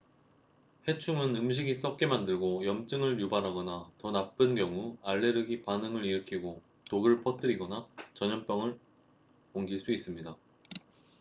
해충은 음식이 썩게 만들고 염증을 유발하거나 더 나쁜 경우 알레르기 반응을 일으키고 독을 퍼뜨리거나 전염병을 옮길 수 있습니다